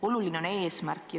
Oluline on eesmärk.